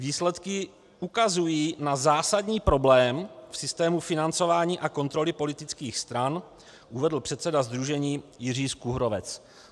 Výsledky ukazují na zásadní problém v systému financování a kontroly politických stran, uvedl předseda sdružení Jiří Skuhrovec.